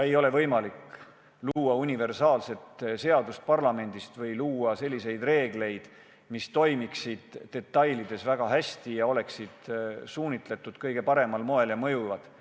Ei ole võimalik luua parlamendis universaalset seadust või selliseid reegleid, mis toimiksid detailides väga hästi, oleksid suunatud kõige paremal moel ja oleksid mõjuvad.